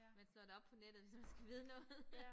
Man slår det op på nettet hvis man skal vide noget